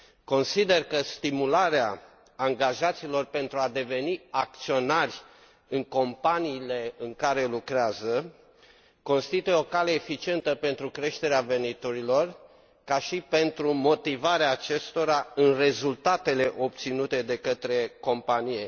Consider că stimularea angajaților pentru a deveni acționari în companiile în care lucrează constituie o cale eficientă pentru creșterea veniturilor, ca și pentru motivarea acestora în rezultatele obținute de către companie.